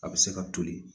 A bɛ se ka toli